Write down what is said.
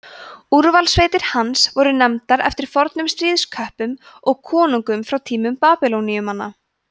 úrvalssveitir hans voru nefndar eftir fornum stríðsköppum og konungum frá tímum babýloníumanna